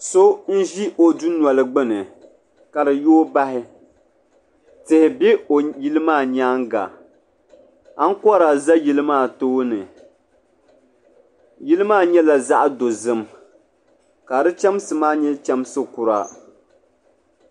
So n ʒi o dunoli gbini ka di yooi bahi tihi be o yili maa nyaanga ankora za yili maa tooni yili maa nyɛla zaɣa dozim ka di chemsi maa nyɛ chemsi kura.